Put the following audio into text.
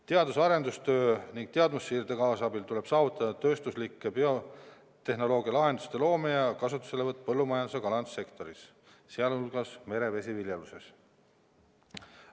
Teadus- ja arendustöö ning teadmussiirde kaasabil tuleb saavutada tööstuslike biotehnoloogialahenduste loomine ja kasutuselevõtt põllumajandus- ja kalandussektoris, sh merevesiviljeluses.